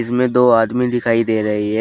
इसमें दो आदमी दिखाई दे रही है।